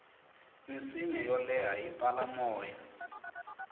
minsinya yo leha yi pfala moya